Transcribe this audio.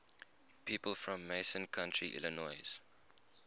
people from macon county illinois